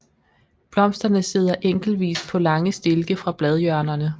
Blomsterne sidder enkeltvis på lange stilke fra bladhjørnerne